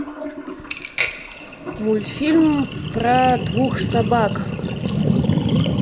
мультфильм про двух собак